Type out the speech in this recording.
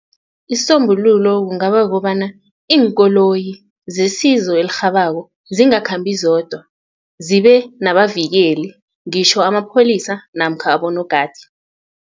Isisombululo kungaba kobana iinkoloyi zesizo elirhabako zingakhambi zodwa zibe nabavikeli ngitjho amapholisa namkha abonogada.